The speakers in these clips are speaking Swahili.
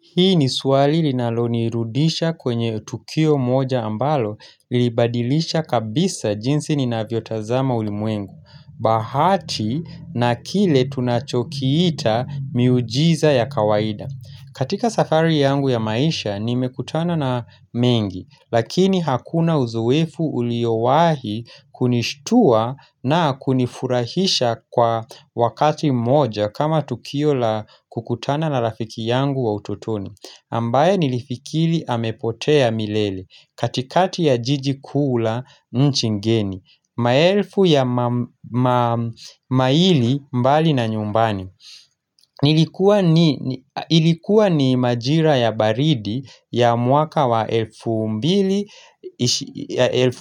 Hii ni swali linalonirudisha kwenye tukio moja ambalo lilibadilisha kabisa jinsi ninavyotazama ulimwengu. Bahati na kile tunachokiita miujiza ya kawaida. Katika safari yangu ya maisha nimekutana na mengi. Lakini hakuna uzoefu uliowahi kunishtua na kunifurahisha kwa wakati moja kama tukio la kukutana na rafiki yangu wa ututoni ambaye nilifikiri amepotea milele katikati ya jiji kuu la nchi ngeni maelfu ya maili mbali na nyumbani ilikuwa ni majira ya baridi ya mwaka wa elfu mbili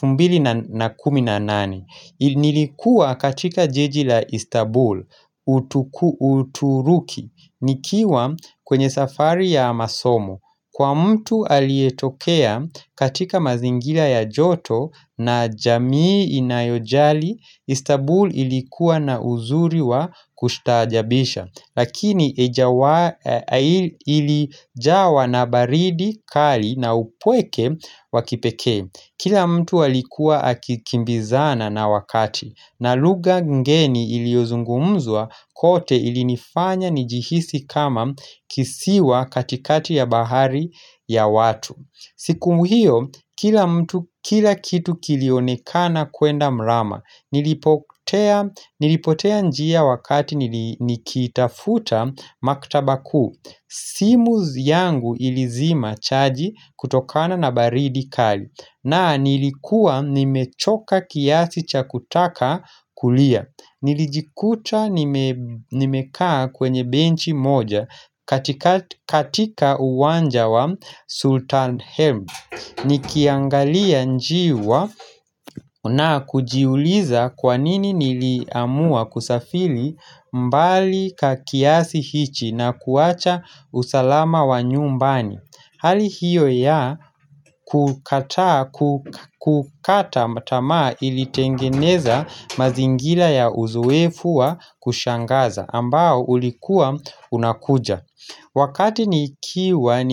mbili na kumi nane niilikua katika jiji la Istanbul uturuki, nikiwa kwenye safari ya masomo kwa mtu aliyetokea katika mazingira ya joto na jamii inayojali Istanbul ilikuwa na uzuri wa kushtaajabisha Lakini ilijawa na baridi kali na upweke wakipekee, kila mtu alikuwa akikimbizana na wakati na lugha ngeni iliozungumzwa kote ilinifanya nijihisi kama kisiwa katikati ya bahari ya watu siku hiyo kila kila kitu kilionekana kwenda mrama, Nilipotea njia wakati nikitafuta maktaba kuu simu yangu ilizima chaji kutokana na baridi kali na nilikuwa nimechoka kiasi cha kutaka kulia nilijikuta nimekaa kwenye benchi moja katika uwanja wa Sultan Helm Nikiangalia njiwa na kujiuliza kwanini niliamua kusafiri mbali kiasi hichi na kuacha usalama wa nyumbani Hali hiyo ya kukata tamaa ilitengeneza mazingira ya uzoefu wa kushangaza ambao ulikua unakuja Wakati nikiwa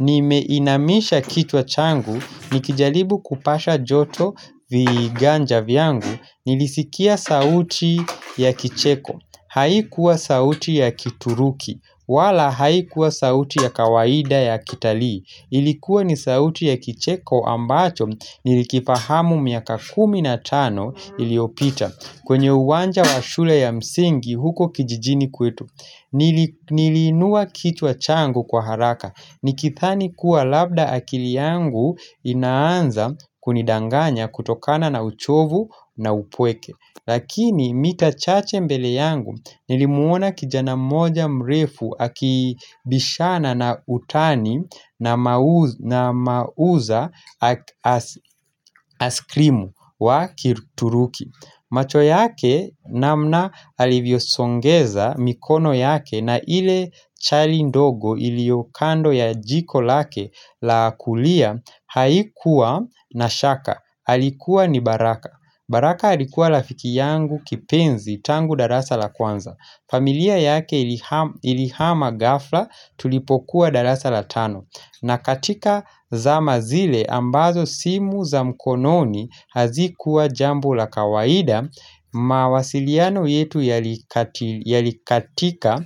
nimeinamisha kichwa changu, nikijaribu kupasha joto viganja vyangu, nilisikia sauti ya kicheko, haikuwa sauti ya kituruki, wala haikuwa sauti ya kawaida ya kitalii, ilikuwa ni sauti ya kicheko ambacho nilikifahamu miaka kumi na tano iliopita, kwenye uwanja wa shule ya msingi huko kijijini kwetu Niliinua kichwa changu kwa haraka nikidhani kuwa labda akili yangu inaanza kunidanganya kutokana na uchovu na upweke, lakini mita chache mbele yangu nilimuona kijana mmoja mrefu akibishana na utani na mauza askrimu wa kituruki, macho yake namna alivyosongeza mikono yake na ile chali ndogo iliyo kando ya jiko lake la kulia haikuwa na shaka, alikuwa ni baraka. Baraka alikuwa rafiki yangu kipenzi tangu darasa la kwanza, familia yake ilihama ghafla tulipokuwa darasa la tano, na katika zama zile ambazo simu za mkononi hazikuwa jambo la kawaida mawasiliano yetu yalikatika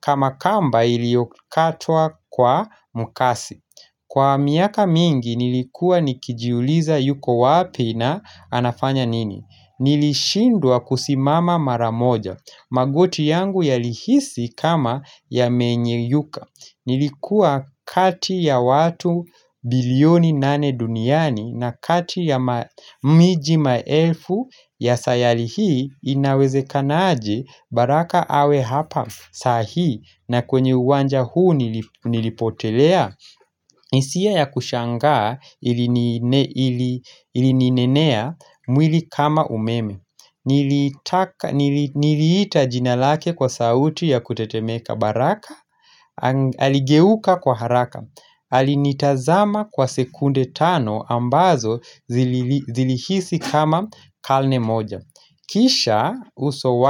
kama kamba iliyokatwa kwa mkasi. Kwa miaka mingi nilikuwa nikijiuliza yuko wapi na anafanya nini? Nilishindwa kusimama mara moja, magoti yangu yalihisi kama yamenyeyuka. Nilikuwa kati ya watu bilioni nane duniani na kati ya miji maelfu ya sayali hii inawezekanaje baraka awe hapa saa hii na kwenye uwanja huu nilipotelea? Hisia ya kushangaa ilininenea mwili kama umeme Niliita jina lake kwa sauti ya kutetemeka, baraka aligeuka kwa haraka, alinitazama kwa sekunde tano ambazo zilihisi kama kalne moja kisha uso.